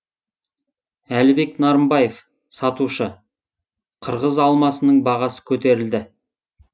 әлібек нарымбаев сатушы қырғыз алмасының бағасы көтерілді